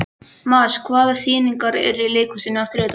Maj, hvaða sýningar eru í leikhúsinu á þriðjudaginn?